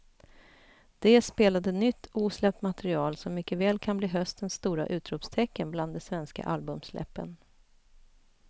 De spelade nytt osläppt material som mycket väl kan bli höstens stora utropstecken bland de svenska albumsläppen.